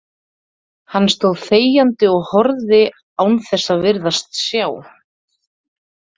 Hann stóð þegjandi og horfði án þess að virðast sjá.